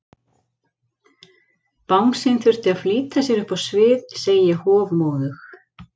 Bangsinn þurfti að flýta sér upp á svið, segi ég hofmóðug.